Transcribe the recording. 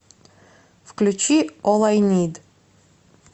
включи ол ай нид